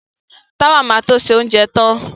Táwà ma to ṣe oúnjẹ tán